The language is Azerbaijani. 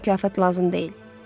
Mənə mükafat lazım deyil.ə